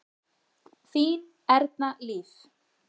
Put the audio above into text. Þín Erna Líf.